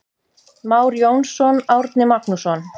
Már Jónsson, Árni Magnússon.